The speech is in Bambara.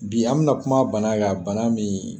Bi an bɛna kuma bana kan, bana min